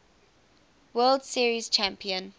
world series champion